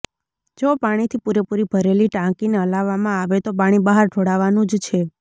જો પાણીથી પૂરેપૂરી ભરેલી ટાંકીને હલાવવામાં આવે તો પાણી બહાર ઢોળાવાનું જ છે